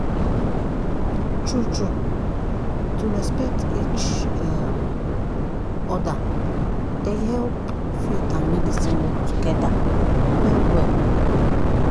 "true-true to respect each um other dey help faith and medicine work together well well.